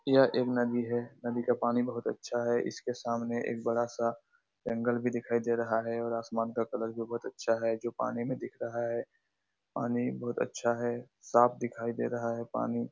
यह एक नदी है। नदी का पानी बहुत अच्छा है। इसके सामने एक बड़ा सा जंगल भी दिखाई दे रहा है और आसमान का कलर भी बहुत अच्छा है जो पानी मे दिख रहा है। पानी बहुत अच्छा है साफ दिखाई दे रहा है पानी।